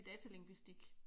Datalingvistik